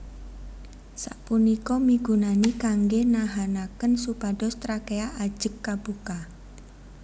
Sapunika migunani kanggè nahanakén supados trakea ajeg kabuka